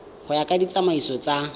go ya ka ditsamaiso tsa